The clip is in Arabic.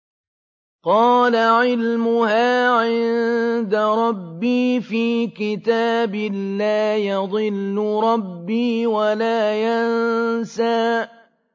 قَالَ عِلْمُهَا عِندَ رَبِّي فِي كِتَابٍ ۖ لَّا يَضِلُّ رَبِّي وَلَا يَنسَى